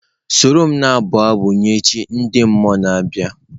Soro m na-abụ abụ nye chi ndị mmụọ na-abịa!.